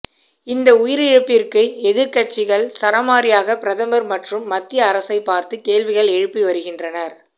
இந்த உயிரிழப்பிற்கு எதிர்க்கட்சிகள் சரமாரியாக பிரதமர் மற்றும் மத்திய அரசை பார்த்து கேள்விகள் எழுப்பி வருகின்றனர்